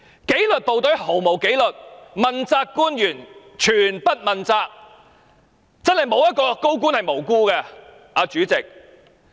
紀律部隊毫無紀律，問責官員全不問責，真的沒有一位高官是無辜的，主席。